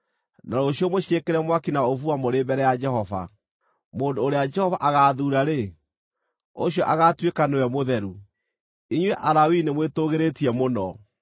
na rũciũ mũciĩkĩre mwaki na ũbumba mũrĩ mbere ya Jehova. Mũndũ ũrĩa Jehova agaathuura-rĩ, ũcio agaatuĩka nĩwe mũtheru. Inyuĩ Alawii nĩmwĩtũgĩrĩtie mũno!”